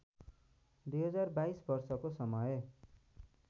२०२२ वर्षको समय